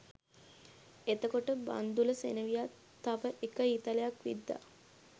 එතකොට බන්ධුල සෙනෙවියා තව එක ඊතලයක් විද්දා